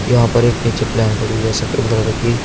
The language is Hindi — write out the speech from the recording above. यहां पर नीचे एक पीछे प्लेन खड़ी सफेद कलर की।